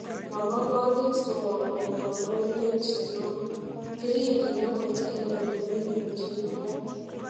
Ma bo kandit kowakun kandoindet nyon, kirikyin agot en ole memuche ibwat